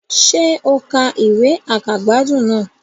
Sé o ka ìwé àkàgbádùn náà